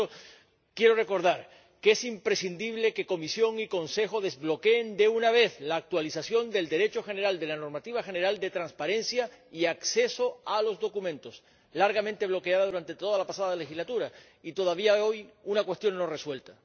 Por tanto, quiero recordar que es imprescindible que Comisión y Consejo desbloqueen de una vez la actualización de la normativa general sobre transparencia y acceso a los documentos, largamente bloqueada durante toda la pasada legislatura y todavía hoy una cuestión no resuelta.